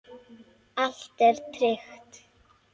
Allt er tryggt.